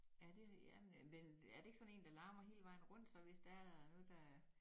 Ja det jamen men er det ikke sådan en der larmer hele vejen rundt så hvis der er noget der